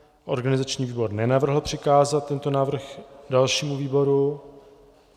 Organizační výbor nenavrhl přikázat tento návrh dalšímu výboru.